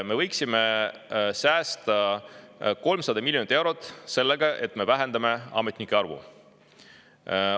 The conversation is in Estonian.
Me võiksime säästa 300 miljonit eurot sellega, et me vähendame ametnike arvu.